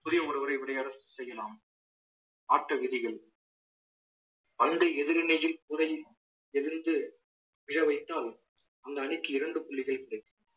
புதிய ஒருவரை விளையாட செய்யலாம் ஆட்ட விதிகள் பந்து எதிரணியில் விழ வைத்தால் அந்த அணிக்கு இரண்டு புள்ளிகள் கிடைக்கும்